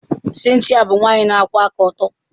Cynthia bụ nwanyị na-akwụwa aka ọtọ.